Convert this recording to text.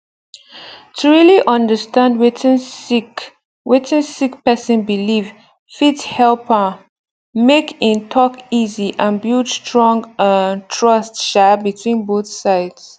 to really understand wetin sick wetin sick person believe fit help um make in talk easy and build strong um trust um between both sides